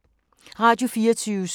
Radio24syv